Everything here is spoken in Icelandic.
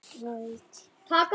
Altént reyna.